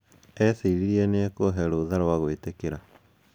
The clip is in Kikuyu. Eciririe niekubee rutha rwa gwitĩkĩra.